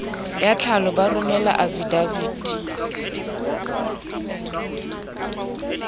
ya tlhalo ba romele afidaviti